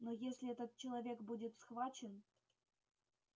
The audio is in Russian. но если этот человек будет схвачен